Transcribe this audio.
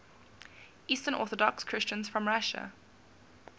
eastern orthodox christians from russia